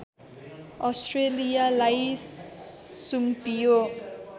अस्ट्रेलियालाई सुम्पियो